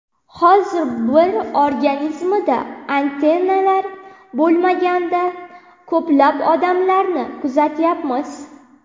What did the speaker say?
Hozir bir organizmida antitanalar bo‘lmagan ko‘plab odamlarni kuzatyapmiz.